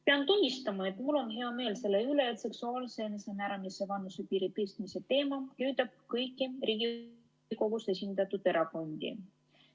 Pean tunnistama, et mul on hea meel selle üle, et seksuaalse enesemääramise vanusepiiri tõstmise teema köidab kõiki Riigikogus esindatud erakondi.